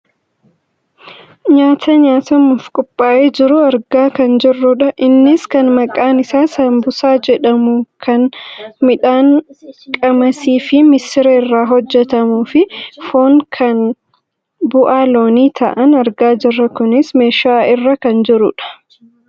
nyaata nyaatamuuf qophaa'ee jiru argaa kan jirrudha. Innis kan maqaan isaa saanbusaa jedhamu kan midhaan qamasiifi missira irraa hojjatamuufi foon kan bu'aa loonii ta'an argaa jirra. kunis meeshaa irra kan jirudha.